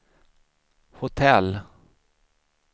hotell